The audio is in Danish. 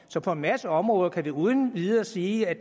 så på en masse områder kan vi uden videre sige at